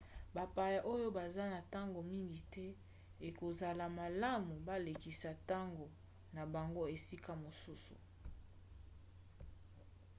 bapaya oyo baza na ntango mingi te ekozala malamu balekisa ntango na bango esika mosusu